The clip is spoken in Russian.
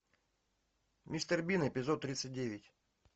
мистер бин эпизод тридцать девять